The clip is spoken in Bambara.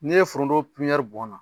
N'i ye forondon bɔn na